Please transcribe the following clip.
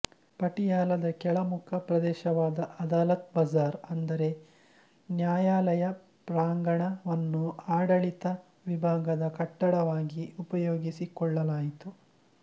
ಪಟಿಯಾಲದ ಕೆಳಮುಖ ಪ್ರದೇಶವಾದ ಅದಾಲತ್ ಬಜಾರ್ ಅಂದರೆ ನ್ಯಾಯಾಲಯ ಪ್ರಾಂಗಣ ವನ್ನು ಆಡಳಿತ ವಿಭಾಗದ ಕಟ್ಟಡವಾಗಿ ಉಪಯೋಗಿಸಿಕೊಳ್ಳಲಾಯಿತು